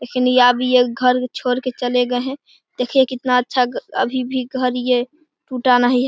लेकिन अब ये घर छोड़कर चले गए है देखिये कितना अच्छा घर अभी भी घर ये टुटा नहीं है।